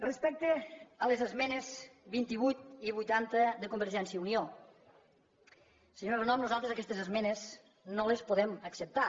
respecte a les esmenes vint vuit i vuitanta de convergència i unió senyora renom nosaltres aquestes esmenes no les podem acceptar